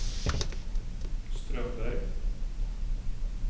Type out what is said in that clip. Strömberg